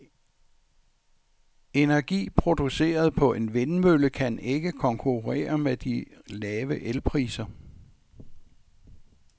Energi produceret på en vindmølle kan ikke konkurrere med de lave elpriser.